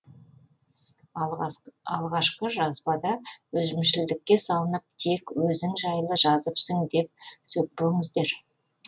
алғашқы жазбада өзімшілдікке салынып тек өзің жайлы жазыпсың деп сөкпеңіздер